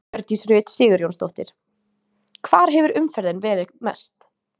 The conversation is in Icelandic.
Hjördís Rut Sigurjónsdóttir: Hvar hefur umferðin verið mest?